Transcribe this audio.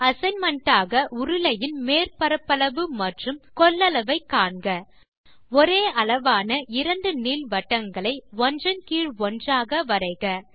assignment ஆக உருளையின் மேற் பரப்பளவு மற்றும் கொள்ளளவு காண்க ஒரே அளவான 2 நீள்வட்டங்களை ஒன்றீன் கீழ் ஒன்றாக வரைக